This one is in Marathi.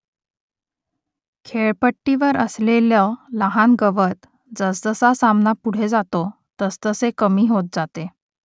खेळपट्टीवर असलेलं लहान गवत जसजसा सामना पुढे जातो तसतसे कमी होत जाते